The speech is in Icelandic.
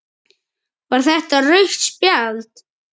Var þetta rautt spjald?